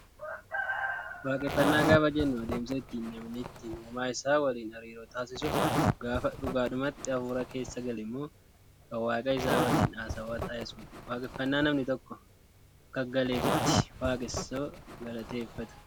Waaqeffannaa gaafa jennu adeemsa ittiin namni ittiin uumaa isaa waliin hariiroo taasisuu gaafa dhugaadhumatti hafuura keessa galemmoo kan waaqa isaa waliin haasawaa taasisuudha. Waaqeffannaa namni tokko Akka galeefitti waaqasaa galateeffata.